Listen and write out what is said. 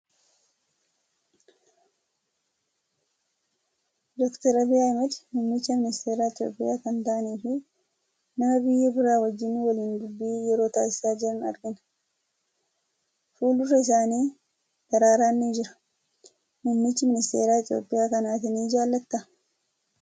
Dookter Abiyyi Ahmed muummicha ministeera Itoophiyaa kan ta'anii fi nama biyya biraa wajjin waliin dubbii yeroo taasisaa jiran argina. Fuuldura isaanii daraaraan ni jira. Muummichi ministeera Itoophiyaa kana ati ni jaalattaa?